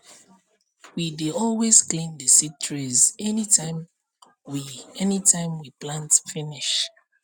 we dey always clean the seed trays anytime we anytime we plant finish